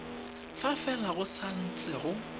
fa fela go santse go